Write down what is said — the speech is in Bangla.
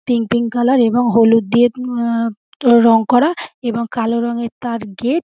পিঙ্ক পিঙ্ক কালার এবং হলুদ দিয়ে অ্যা রং করা এবং কালো রঙের তার গেট ।